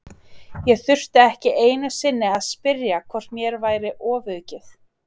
Ég þurfti ekki einu sinni að spyrja hvort mér væri ofaukið.